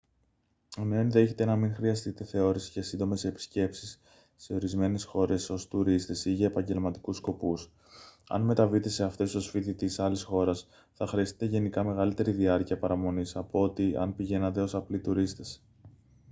ενώ ενδέχεται να μην χρειαστείτε θεώρηση για σύντομες επισκέψεις σε ορισμένες χώρες ως τουρίστες ή για επαγγελματικούς σκοπούς αν μεταβείτε σε αυτές ως φοιτητής άλλης χώρας θα χρειαστείτε γενικά μεγαλύτερη διάρκεια παραμονής από ό,τι αν πηγαίνατε ως απλοί τουρίστες